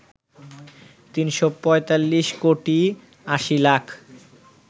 ৩৪৫ কোটি ৮০ লাখ